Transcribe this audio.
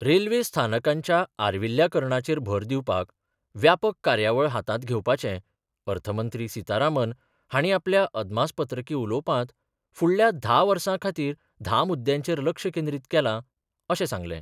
Railway स्थानकांच्या आर्विल्ल्याकरणाचेर भर दिवपाक व्यापक कार्यावळ हातांत घेवपाचे अर्थमंत्री सितारामन हाणी आपल्या अदमासपत्रकी उलोवपांत फुडल्या धा वर्सां खातीर धा मुद्यांचेर लक्ष केंद्रीत केलां, अशें सांगलें.